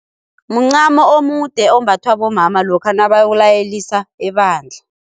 Muncamo omude ombathwa bomama lokha nabayokulayelisa ebandla.